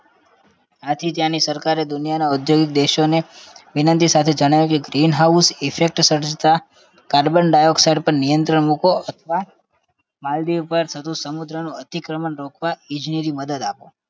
આથી ત્યાંની સરકારે દુનિયાના ઔદ્યોગિક દેશોને વિનંતી સાથે જણાવ્યું કે green house effect સર્જાતા carbon dioxide પર નિયંત્રણ મુકો અથવા માલદીવ પર થતું સમુદ્રનું અધિક્રમણ રોકવા ઈજનેરી મદદ આપો